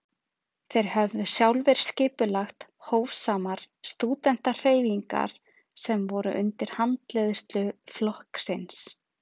þeir höfðu sjálfir skipulagt „hófsamar“ stúdentahreyfingar sem voru undir handleiðslu flokksins